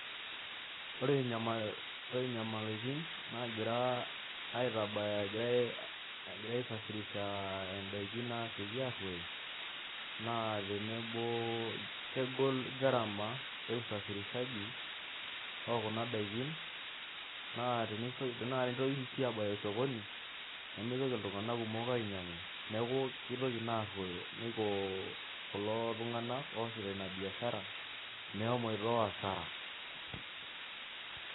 Ore nyamalitin naagirae aitabaya egirae aisafirisha daikin naagira airuoyo naa kegol gharama oo Kuna daikin naa, teneitokini sii. aabaya sokoni nemeitoki iltunganak kumok ainyiangu neeku nepuo kulo tunganak oosita Ina biashara meshomoito asara.a